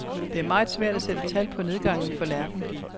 Det er meget svært at sætte tal på nedgangen for lærken.